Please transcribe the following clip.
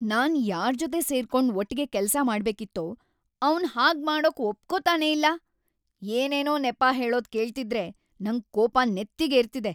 ನಾನ್‌ ಯಾರ್ಜೊತೆ ಸೇರ್ಕೊಂಡ್ ಒಟ್ಗೆ ಕೆಲ್ಸ ಮಾಡ್ಬೇಕಿತ್ತೋ ಅವ್ನ್‌ ಹಾಗ್ಮಾಡೋಕ್‌ ಒಪ್ಕೊತಾನೇ ಇಲ್ಲ, ಏನೇನೋ ನೆಪ ಹೇಳೋದ್‌ ಕೇಳ್ತಿದ್ರೆ‌ ನಂಗ್‌ ಕೋಪ ನೆತ್ತಿಗೇರ್ತಿದೆ.